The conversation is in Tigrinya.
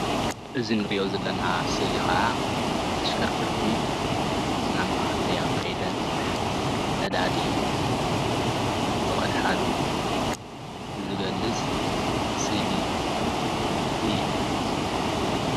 እዚ እንሪኦ ዘለና ስእሊ ከዓ ኣሽከርከርቲ ናብ ማድያ ከይደን ነዳዲ ዝቀድሓሉ ዝገልፅ ስእሊ እዩ፡፡